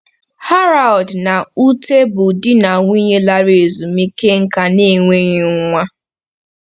Harald na Ute bụ di na nwunye larala ezumike nká na-enweghị nwa.